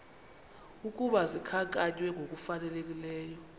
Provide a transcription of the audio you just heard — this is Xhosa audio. ukuba zikhankanywe ngokufanelekileyo